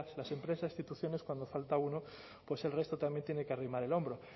las empresas instituciones cuando falta uno pues el resto también tiene que arrimar el hombro